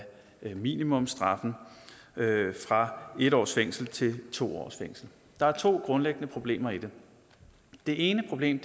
minimumsstraffen fra en års fængsel til to års fængsel der er to grundlæggende problemer i det det ene problem